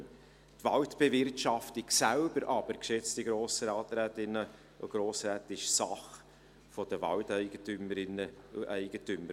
Die Waldbewirtschaftung selbst, geschätzte Grossrätinnen und Grossräte, ist aber Sache der Waldeigentümerinnen und -eigentümer.